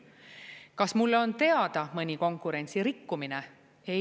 Kas mulle on teada mõni konkurentsirikkumine?